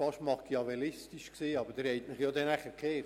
Es hörte sich schon fast machiavellistisch an.